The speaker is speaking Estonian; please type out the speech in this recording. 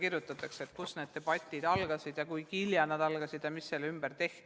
Uuritakse, kust need debatid algasid ja kui hilja nad algasid ja mis selle ümber toimus.